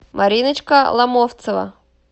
мариночка ломовцева